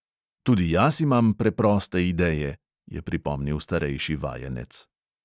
"Tudi jaz imam preproste ideje," je pripomnil starejši vajenec.